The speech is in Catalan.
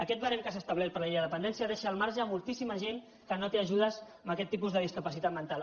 aquest barem que s’ha establert per a la llei de dependència deixa al marge moltíssima gent que no té ajudes amb aquest tipus de discapacitat mental